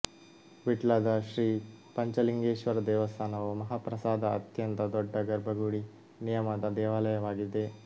ವಿಟ್ಲದ ಶ್ರೀ ಪಂಚಲಿಂಗೇಶ್ವರ ದೇವಸ್ಥಾನವು ಮಹಾಪ್ರಾಸಾದ ಅತ್ಯಂತ ದೊಡ್ಡ ಗರ್ಭಗುಡಿ ನಿಯಮದ ದೇವಾಲಯವಾಗಿದೆ